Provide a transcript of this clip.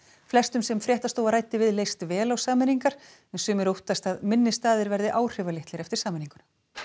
flestum sem fréttstofa ræddi við leist vel á sameiningu en sumir óttast að minni staðir verði áhrifalitlir eftir sameiningu